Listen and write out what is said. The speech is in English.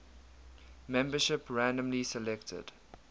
membership randomly selected